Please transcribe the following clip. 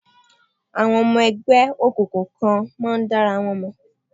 Àwọn ọmọ ẹgbẹ́ òkùnkùn kan máa ń dára wọn mọ̀.